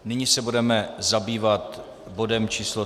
Nyní se budeme zabývat bodem číslo